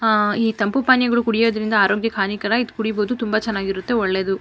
ಆಹ್ಹ್ ಈ ತಂಪು ಪಾನೀಯಗಳನ್ನು ಕುಡಿಯುವುದರಿಂದ ಆರೋಗ್ಯಕ್ಕೆ ಹಾನಿಕರ ಇದು ಕುಡೀಬಹುದು ತುಂಬಾ ಚೆನ್ನಾಗಿರುತ್ತೆ ಒಳ್ಳೇದು.